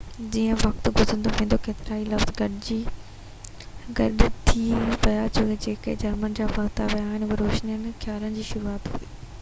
جيئن وقت گذرندو ويو ڪيترائي لفظ گڏ ٿي ويا جيڪي جرمن کان ورتا ويا هئا اهو روشن خيالي جي شروعات هئي